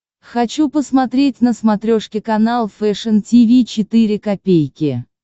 хочу посмотреть на смотрешке канал фэшн ти ви четыре ка